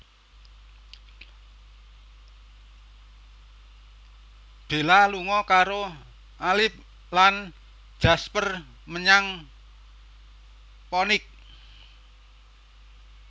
Bella lunga karo Alice lan Jasper menyang Phoenix